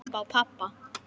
Upp á pabba.